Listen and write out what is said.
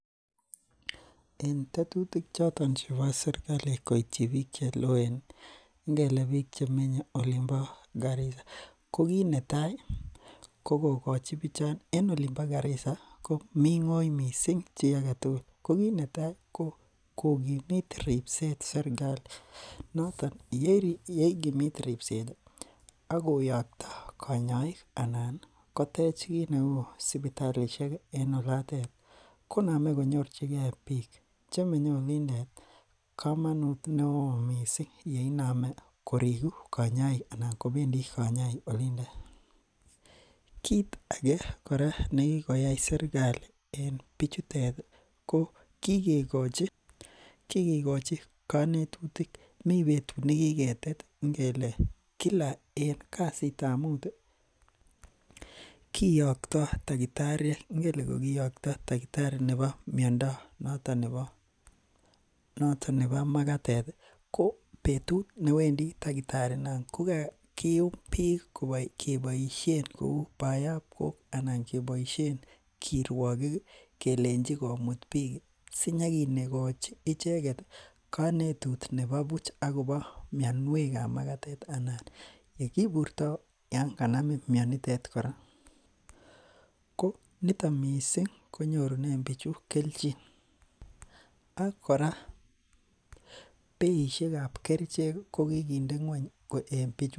En tetutik choton chebo serkali koityin bik cheloen ingele bik chemenye olonbo karisa ko kit netai ko kikochi bichon ribset. En olimba Garisa ko ming'in missing chi agetugul. Ko kit netai ko kokimit ribset serkali noton yeigimit ribset ih akoyakya kanyaik anan kotech kit neuu sibitalishek ih koname konyorchige bik chemenye olindet kamanut neo missing yekiname korigu kanyaik anan kobendii kanyaik olindo. Kit age kora nekikoyai serkali en bichutet ih ko kikochi kanetutik, mi betut nekiketet imuch kele Kila en kasitab Mut ih kiaktoi takitariek, ingele kakiacta takitari nebo makatet ko betut newendi takitari inon ih ko kakium bik keboisien kou bayab koi anan kebaisien kiruakik kelechi komut bik sinykikoi icheket kanetishet nebo buch akobo mianiuekab magatet ak yekiburta Yoon kanamin mianotet kora ko nito missing konyurune kelchin ak beishekkab kerichek ko kikinde ng'uany.